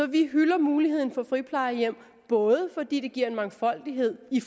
vi hylder muligheden for friplejehjem både fordi det giver en mangfoldighed i